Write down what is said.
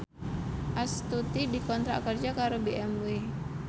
Astuti dikontrak kerja karo BMW